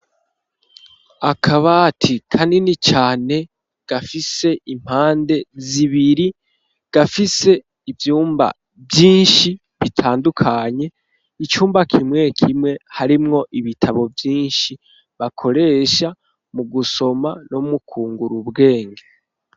Akabati kanini cane gafise impande zibiri gafise ivyumba vyinshi bitandukanye icumba kimwe kimwe harimwo ibitabo vyinshi bakoresha mu gusoma no mukungura ubwenge.